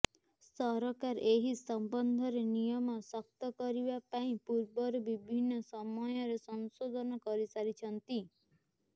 ସରକାର ଏହି ସମ୍ମନ୍ଧରେ ନିୟମ ଶକ୍ତ କରିବା ପାଇଁ ପୂର୍ବରୁ ବିଭିନ୍ନ ନିମୟରେ ସଂଶୋଧନ କରିସାରିଛନ୍ତି